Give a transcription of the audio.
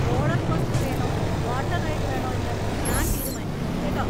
Roller coaster വേണോ water ride വേണോ എന്ന് ഞാൻ തീരുമാനിക്കും, കേട്ടോ.